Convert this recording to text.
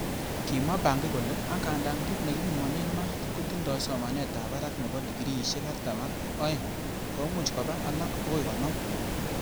Kimwa Bangi kole,"Angandan kit nekipimonen maat kotindoi somanetab barak nebo dikriisiek artam ak oeng, komuch koba alak bokoi konoom.